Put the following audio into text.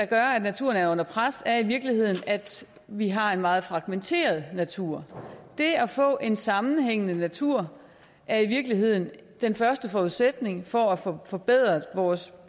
gør at naturen er under pres er i virkeligheden at vi har en meget fragmenteret natur det at få en sammenhængende natur er i virkeligheden den første forudsætning for at få forbedret vores